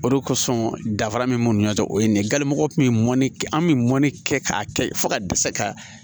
O de kosɔn dafara min b'u ni ɲɔgɔn cɛ o ye nin ye gale mɔgɔ kun ye mɔni kɛ an bɛ mɔni kɛ k'a kɛ fo ka dɛsɛ ka